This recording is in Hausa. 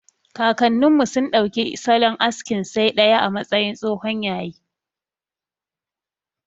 Kakannin mu sun ɗauki salon askin saidaya a matsayin tsohon yayi.